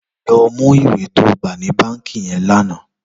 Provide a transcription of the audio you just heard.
Lò mú iwé tó gbá ni bànkí yèn lànã